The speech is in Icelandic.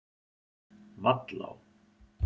Vallá